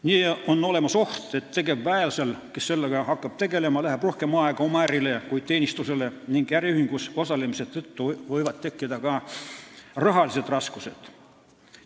Nii on olemas oht, et tegevväelasel, kes hakkab sellega tegelema, läheb rohkem aega oma ärile kui teenistusele ning äriühingus osalemise tõttu võivad tekkida ka rahalised raskused.